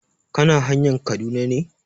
Kana hanayn Kaduna ne?